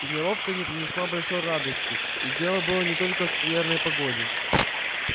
тренировка не принесла большой радости и дело было не только в скверной погоде